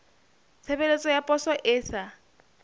tshebeletso ya poso e sa